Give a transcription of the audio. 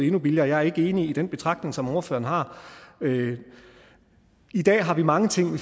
endnu billigere jeg er ikke enig i den betragtning som ordføreren har i dag har vi mange ting